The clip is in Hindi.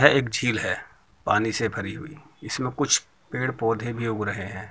यह एक झील है पानी से भरी हुई जिसमे कुछ पेड़ पौधे भी उग रहे हैं।